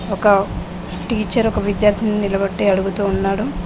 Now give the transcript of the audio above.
ఒక టీచర్ ఒక విద్యార్థిని నిలబట్టి అడుగుతూ ఉన్నాడు.